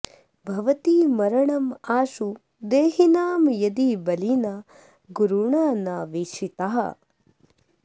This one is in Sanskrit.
भवति मरणम् आशु देहिनां यदि बलिना गुरुणा न वीक्षिताः